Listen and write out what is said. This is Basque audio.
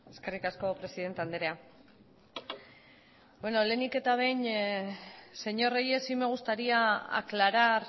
eskerrik asko presidente andrea beno lehenik eta behin señor reyes sí me gustaría aclarar